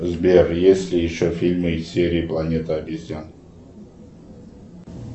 сбер есть ли еще фильмы из серии планета обезьян